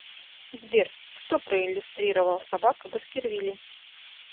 сбер кто проиллюстрировал собака баскервилей